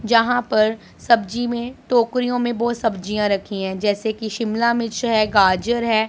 यहां पर सब्जी में टोकरियों में बहुत सब्जियां रखी हैं जैसे कि शिमला मिर्च है गाजर है।